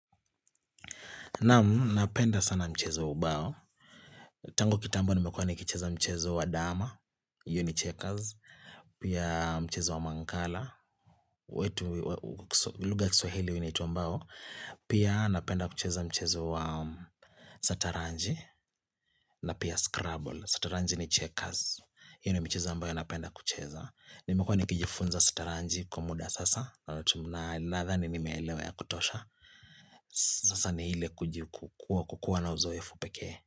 Naam, napenda sana mchezo ubao, tangu kitambo nimekuwa ni kicheza mchezo wa dama, uni checkers, pia mchezo wa mangala, wetu lugha kiswahili unaitwa mbao, pia napenda kucheza mchezo wa sataranji, na pia scrubble, sataranji ni checkers, hiyo ni michezo ambayo ninapenda kucheza. Nimekuwa nikijifunza sataranji kwa muda sasa na ladhani nimeelewa ya kutosha Sasa ni hile kukuwa na uzoefu pekee.